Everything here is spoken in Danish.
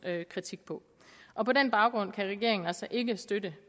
kritik på og på den baggrund kan regeringen altså ikke støtte